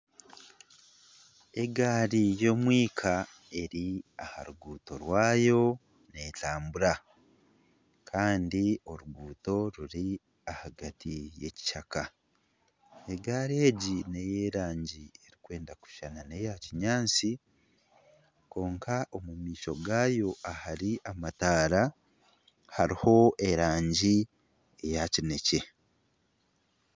Egaari y'omwika eri aha ruguuto rwayo neetambura kandi oruguuto ruri ahagati y'ekishaka, egaari egi n'ey'erangi erikwenda kushushana n'eya kinyaatsi kwonka omu maisho gaayo ahari amataara hariho erangi eya kineekye